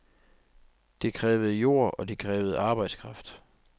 Det krævede jord og det krævede arbejdskraft.